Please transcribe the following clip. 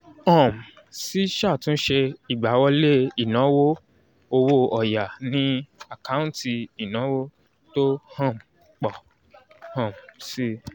um síṣàtúnṣe ìgbáwọlé ìnáwó owó ọ̀ya ni àkáǹtì ìnáwó tó ń um pọ̀ um si